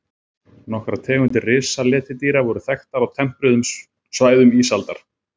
Nokkrar tegundir risaletidýra voru þekktar á tempruðum svæðum ísaldar.